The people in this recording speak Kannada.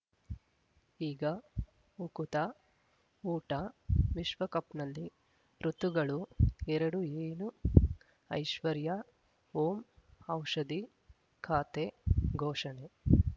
ಈಗ ಉಕುತ ಊಟ ವಿಶ್ವಕಪ್‌ನಲ್ಲಿ ಋತುಗಳು ಎರಡು ಏನು ಐಶ್ವರ್ಯಾ ಓಂ ಔಷಧಿ ಖಾತೆ ಘೋಷಣೆ